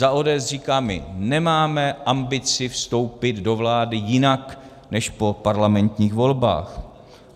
Za ODS říkáme, nemáme ambici vstoupit do vlády jinak než po parlamentních volbách.